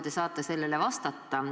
Te saate sellele veel vastata.